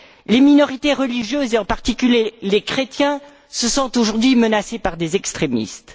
Les minorités religieuses, et en particulier les chrétiens, se sentent aujourd'hui menacées par des extrémistes.